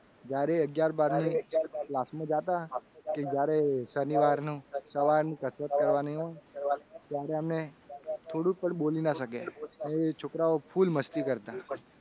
જ્યારે અગિયાર બાર ની class માં જતા હતા કે જ્યારે શનિવારનું સવારની કસરત કરવાની ત્યારે અમને થોડું પણ બોલી શકે અને એ છોકરાઓ full મસ્તી કરતા.